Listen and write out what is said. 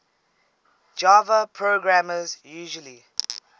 java programmers usually